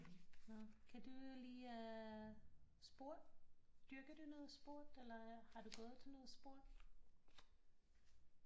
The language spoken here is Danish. Nå kan du lide at sport dyrker du noget sport eller har du gået til noget sport